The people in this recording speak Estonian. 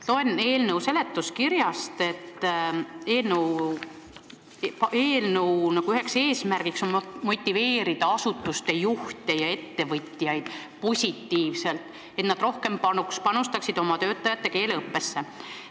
Loen eelnõu seletuskirjast, et eelnõu üks eesmärke on motiveerida asutuste juhte ja ettevõtjaid positiivselt, et nad rohkem panustaksid oma töötajate keeleõppesse.